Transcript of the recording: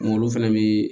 Olu fɛnɛ bii